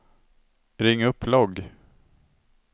ring upp logg